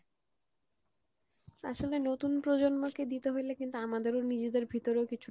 আসলে নতুন প্রজন্ম কে দিতে হইলে কিন্তু আমাদেরও নিজেদের ভিতরেও কিছুটা